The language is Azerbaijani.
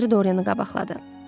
Lord Henri Dorianı qabaqladı.